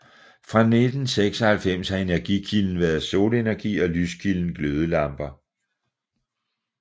Fra 1996 har energikilden været solenergi og lyskilden glødelamper